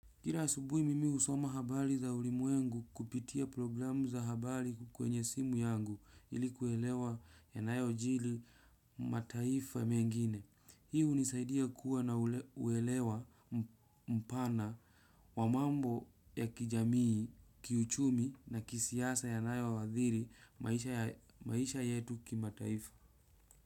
Kila asubuhi mimi husoma habari za ulimwengu kupitia programu za habari kwenye simu yangu ili kuelewa yanayojiri mataifa mengine. Hii hunisaidia kuwa na uelewa mpana wa mambo ya kijamii, kiuchumi na kisiasa yanayoathiri maisha yetu kimataifa.